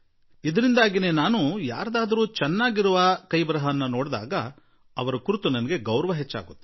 ಈ ಕಾರಣದಿಂದಾಗಿ ನಾನು ಬೇರೆ ಯಾರದ್ದಾದರೂ ಒಳ್ಳೆಯ ಬರವಣಿಗೆ ನೋಡಿದಾಗ ನನಗೆ ಅವರ ಮೇಲೆ ಆದರ ಬಹಳವೇ ಹೆಚ್ಚಾಗಿಬಿಡುತ್ತದೆ